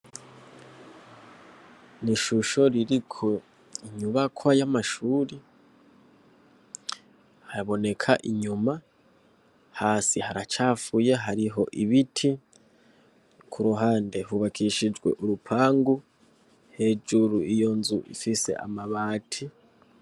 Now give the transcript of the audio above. Ni ishusho ririko inyubakwa yamashuri haboneka inyuma hasi haracafuye hariho ibiti kuruhande hubakishijwe urupangu hejuru iyonzu ifise amabati